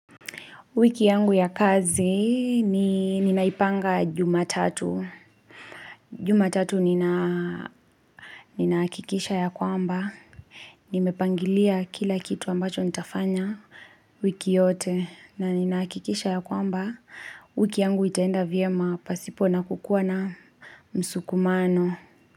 Wiki yangu ya kazi, ninaipanga jumatatu. Jumatatu ninahakikisha ya kwamba. Nimepanga kila kitu ambacho nitafanya wiki yote. Na ninahakikisha ya kwamba, wiki yangu itaenda vyema pasipona kukuwa na msukumano.